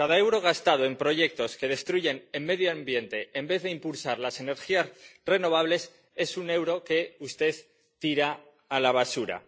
Cada euro gastado en proyectos que destruyen el medio ambiente en vez de impulsar las energías renovables es un euro que usted tira a la basura.